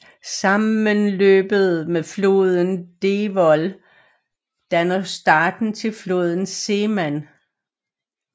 Sammenløbet med floden Devoll danner starten til floden Seman